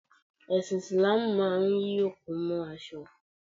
Ẹsin Isilaamu máa ń yí òkú mó aṣọ.